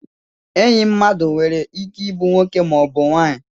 Enyi mmadụ nwere ike ịbụ nwoke maọbụ nwanyị